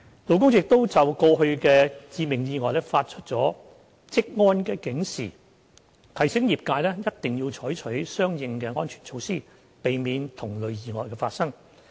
勞工處亦就過去的致命意外發出了"職安警示"，提醒業界一定要採取相應的安全措施，以避免同類意外發生。